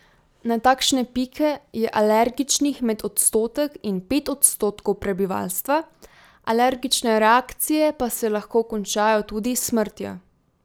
Na takšne pike je alergičnih med odstotek in pet odstotkov prebivalstva, alergične reakcije pa se lahko končajo tudi s smrtjo.